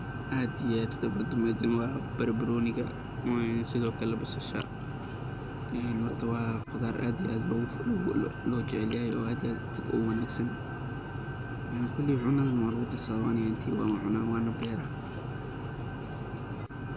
Aad iyo aad khibrada meeshan waa barbarooniga, sidho kale basasha, horta waa qudaar aad iyo aad loo jecel yahay oo aad iyo aad uwanagsan, koleey cunada na waa lagu darsadaa ani ahaanteey waan cunaa waana beera.